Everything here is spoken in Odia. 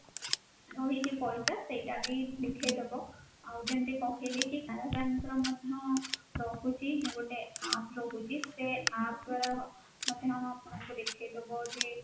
ରହିଛି ପଇସା ସେଇଟା ବି ଦେଖେଇଦେବ ଆଉ ଯେମିତି କହିଲି କି canara bank ର ମଧ୍ୟ ରହୁଛି ଗୋଟେ APP ରହୁଛି ସେଇ APP ଦ୍ୱାରା ମଧ୍ୟ ଆପଣଙ୍କର ଦେଖେଇଦେବ ଯେ